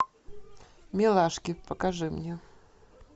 милашки покажи мне